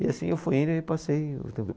E assim eu fui indo e passei.